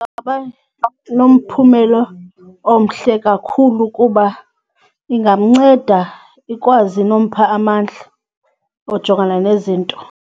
Ingaba nomphumela omhle kakhulu kuba ingamnceda ikwazi nompha amandla ojongana nezinto.